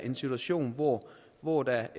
en situation hvor hvor der